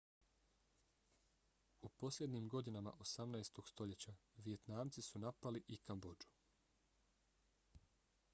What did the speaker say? u posljednjim godinama 18. stoljeća vijetnamci su napali i kambodžu